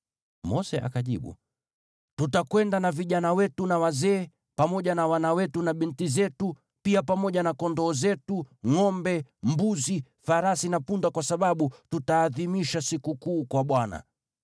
Mose akajibu, “Tutakwenda na vijana wetu na wazee, pamoja na wana wetu na binti zetu, pia pamoja na kondoo zetu, ngʼombe, mbuzi, farasi na punda kwa sababu tutaadhimisha sikukuu kwa Bwana .”